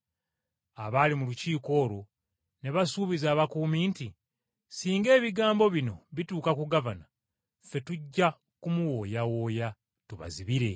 Abaali mu lukiiko olwo ne basuubiza abakuumi nti, “Singa ebigambo bino bituuka ku gavana, ffe tujja kumuwooyawooya, tubazibire.”